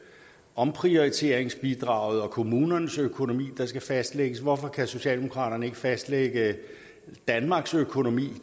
omprioriteringsbidraget og kommunernes økonomi der skal fastlægges hvorfor kan socialdemokraterne ikke fastlægge danmarks økonomi